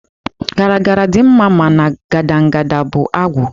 Garagara dị mma mana gadangada bụ agwụ.